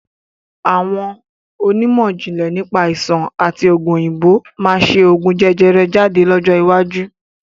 Àwọn onímọ̀jìnlẹ̀ nípa Àìsàn àti ogún òyìnbó máa ṣe ogún jẹjẹrẹ jáde lọ́jọ́ iwájú